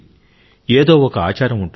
ఏదో ఒక ఆచారం ఉంటుంది